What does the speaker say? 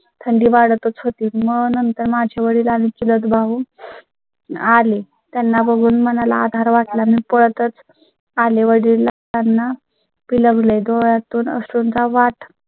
थंडी वाढ तच होती मग नंतर माझ्या वडिलां नी चुलत भाऊ. आले त्यांना बघून मनाला आधार वाट ला. मी पळ तच आले वडीलांना बिलगले डोळ्यातून तून अश्रूंचा वाट